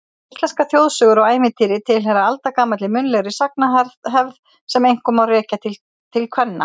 Íslenskar þjóðsögur og ævintýri tilheyra aldagamalli munnlegri sagnahefð sem einkum má rekja til kvenna.